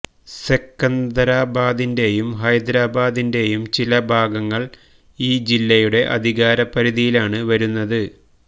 സെക്കന്ദരാബാദിന്റെയും ഹൈദരാബാദിന്റെയും ചില ഭാഗങ്ങൾ ഈ ജില്ലയുടെ അധികാര പരിധിയിലാണ് വരുന്നത്